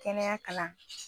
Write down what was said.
Kɛnɛya kalan